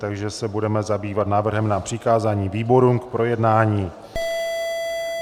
Takže se budeme zabývat návrhem na přikázání výborům k projednání.